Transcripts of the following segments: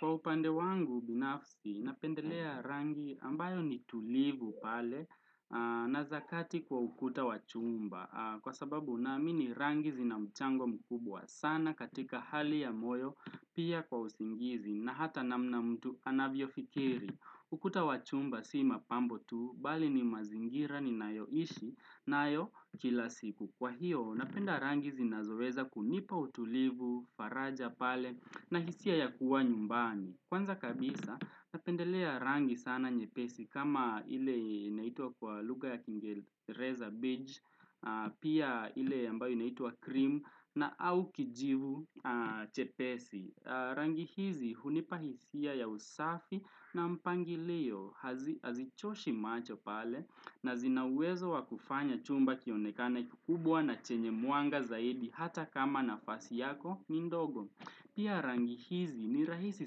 Kwa upande wangu binafsi, napendelea rangi ambayo ni tulivu pale na zakati kwa ukuta wachumba. Kwa sababu nami ni rangi zina mchango mkubwa sana katika hali ya moyo pia kwa usingizi na hata namna mtu anavyo fikiri. Ukuta wachumba sima pambo tu, bali ni mazingira ni nayo ishi, nayo kila siku. Kwa hiyo, napenda rangi zinazoweza kunipa utulivu, faraja pale na hisia ya kuwa nyumbani. Kwanza kabisa, napendelea rangi sana nyepesi kama ile inaitwa kwa luga ya KingeReza peach, pia ile yambayo inaitwa cream na au kijivu chepesi. Rangi hizi, hunipa hisia ya usafi na mpangi liyo, hazichoshi macho pale na zinawezo wakufanya chumba kionekane kikubwa na chenye muanga zaidi hata kama na fasi yako ni ndogo. Pia rangi hizi ni rahisi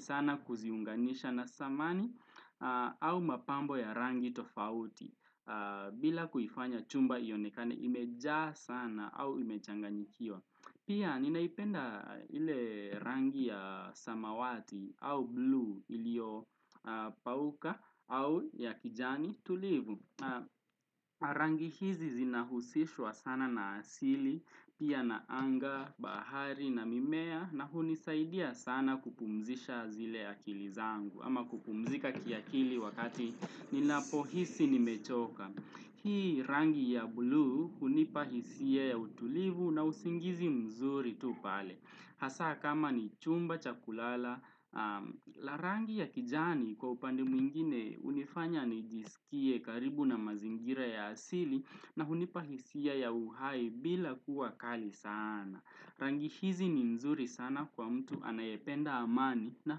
sana kuziunganisha na samani au mapambo ya rangi tofauti bila kuifanya chumba yonekane imejaa sana au imechanganyikiwa. Pia ninaipenda ile rangi ya samawati au blue ilio pauka au ya kijani tulivu. Na rangi hizi zinahusishwa sana na asili, pia na anga, bahari na mimea na hunisaidia sana kupumzisha zile akili zangu. Ama kupumzika kiakili wakati ninapo hisi ni mechoka. Hii rangi ya blue hunipa hisia ya utulivu na usingizi mzuri tu pale. Hasa kama ni chumba, chakulala, larangi ya kijani kwa upande mwingine unifanya nijisikie karibu na mazingira ya asili na hunipahisia ya uhai bila kuwa kali sana. Rangi hizi ni nzuri sana kwa mtu anayependa amani na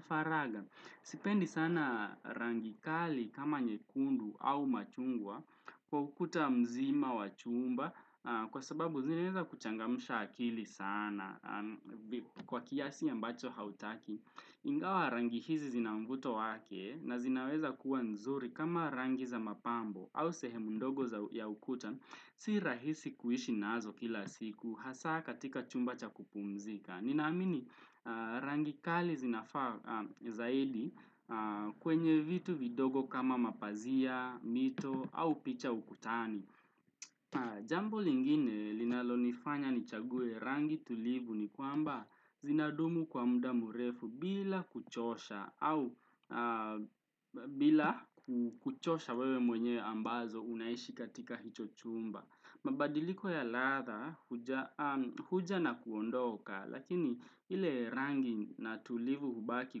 faraga. Sipendi sana rangi kali kama nyekundu au machungwa kwa ukuta mzima wa chumba kwa sababu zineza kuchangamsha akili sana. Kwa kiasi ya mbacho hautaki, ingawa rangi hizi zinamvuto wake na zinaweza kuwa nzuri kama rangi za mapambo au sehemu ndogo za ya ukuta. Si rahisi kuishi nazo kila siku, hasa katika chumba cha kupumzika. Ninaamini rangi kali zinafa zaidi kwenye vitu vidogo kama mapazia, mito au picha ukutani. Jambu lingine linalonifanya ni chague rangi tulivu ni kwamba zinadumu kwa muda mrefu bila kuchosha au bila kuchosha wewe mwenye ambazo unaishi katika hicho chumba. Mabadiliko ya ladha huja na kuondoka lakini ili rangi na tulivu hubaki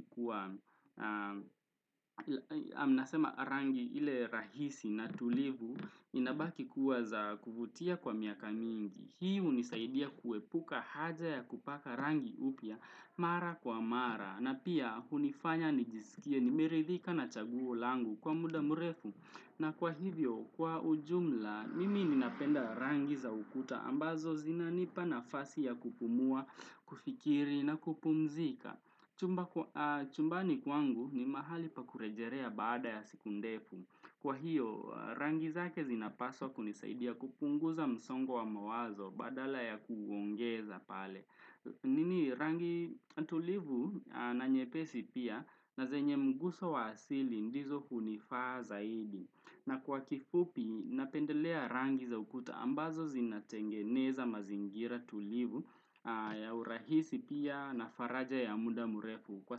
kuwa Amnasema rangi ili rahisi na tulivu inabaki kuwa za kuvutia kwa miaka mingi Hii unisaidia kuepuka haja ya kupaka rangi upya mara kwa mara na pia hunifanya nijisikia nimeridhika na chaguo langu kwa muda mrefu na kwa hivyo, kwa ujumla, mimi ninapenda rangi za ukuta ambazo zinanipa nafasi ya kupumua, kufikiri na kupumzika. Chumbani kwangu ni mahali pakurejerea baada ya siku ndefu. Kwa hiyo, rangi zake zinapaswa kunisaidia kupunguza msongo wa mawazo badala ya kuongeza pale. Nini rangi tulivu na nyepesi pia na zenye mguso wa asili ndizo hunifaa zaidi na kwa kifupi napendelea rangi za ukuta ambazo zinatengeneza mazingira tulivu ya urahisi pia na faraja ya muda murefu kwa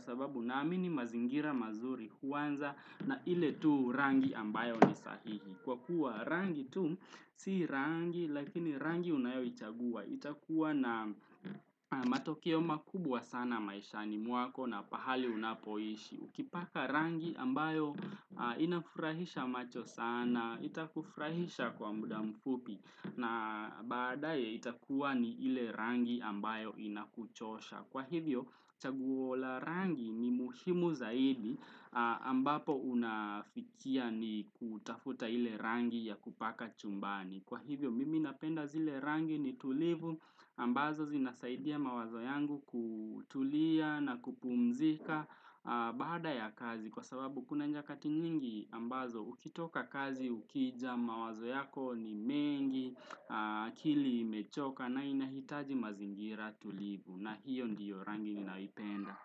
sababu naamini mazingira mazuri huanza na ile tu rangi ambayo ni sahihi. Kwa kuwa rangi tu si rangi lakini rangi unayo ichagua. Itakuwa na matokio makubwa sana maisha ni mwako na pahali unapoishi. Ukipaka rangi ambayo inafurahisha macho sana. Itakufurahisha kwa muda mfupi. Na badaye itakuwa ni ile rangi ambayo inakuchosha. Kwa hivyo chaguola rangi ni muhimu zaidi ambapo unafikia ni kutafuta ile rangi ya kupaka chumbani. Kwa hivyo mimi napenda zile rangi ni tulivu ambazo zinasaidia mawazo yangu kutulia na kupumzika baada ya kazi. Kwa sababu kuna nyakati nyingi ambazo ukitoka kazi ukija mawazo yako ni mengi akili mechoka na inahitaji mazingira tulivu. Na hiondiyo rangi ninaipenda.